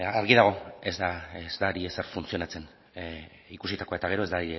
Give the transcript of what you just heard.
argi dago ez da ari ezer funtzionatzen ikusitakoa eta gero ez da